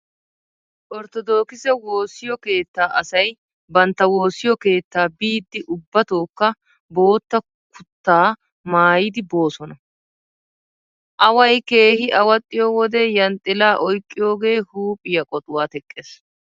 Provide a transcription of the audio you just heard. Orttodookkise woossiyo keettaa asay bantta woossiyo keettaa biiddi ubbatookka bootta kuttaa maayidi boosona. Away keehi awaxxiyo wode yanxxilaa oyqqiyoogee huuphphiyaa qoxuwaa teqqees.